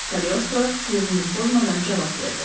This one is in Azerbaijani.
Kaleostro tövrünü pozmadan cavab verdi.